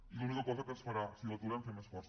i l’única cosa que ens farà si l’aturem ser més forts